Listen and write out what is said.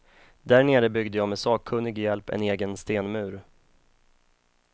Där nere byggde jag med sakkunnig hjälp en egen stenmur.